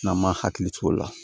N'an m'a hakili t'o la